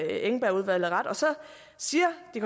engbergudvalget og så siger de